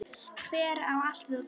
Hver á allt þetta dót?